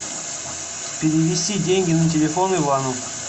перевести деньги на телефон ивану